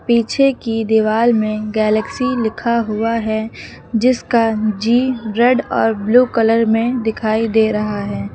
पीछे की दीवाल में गैलेक्सी लिखा हुआ है जिसका जी रेड और ब्लू कलर में दिखाई दे रहा है।